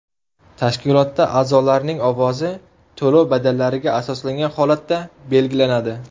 Tashkilotda a’zolarning ovozi to‘lov badallariga asoslangan holatda belgilanadi.